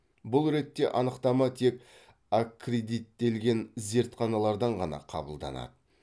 бұл ретте анықтама тек аккредиттелген зертханалардан ғана қабылданады